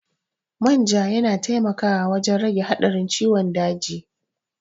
Manja yana taimakawa wajen rage haɗarin ciwon daji.